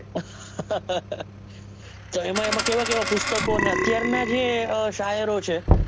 તો એં કેવા કેવા પુસ્તકો અને અત્યાર નાં જે શાયરો છે,